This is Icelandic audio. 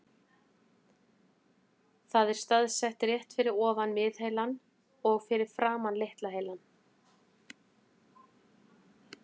Það er staðsett rétt fyrir ofan miðheilann og fyrir framan litla heilann.